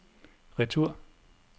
retur